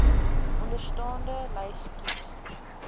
onderstaande lys kies